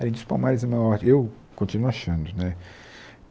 Além disso, o Palmares é maior, eu continuo achando né.